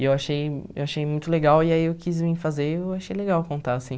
E eu achei eu achei muito legal e aí eu quis vir fazer e eu achei legal contar, assim.